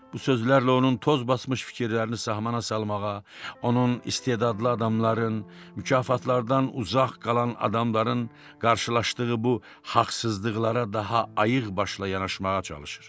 bu sözlərlə onun toz basmış fikirlərini sahmana salmağa, onun istedadlı adamların, mükafatlardan uzaq qalan adamların qarşılaşdığı bu haqsızlıqlara daha ayıq başla yanaşmağa çalışır.